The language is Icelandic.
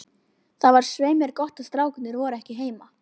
Það var svei mér gott að strákarnir voru ekki heima.